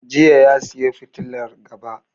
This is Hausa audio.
Jiya ya saya fitilar gaba.